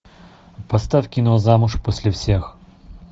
поставь кино замуж после всех